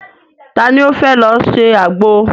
Ta ni ó fẹ́ lọ se àgbo?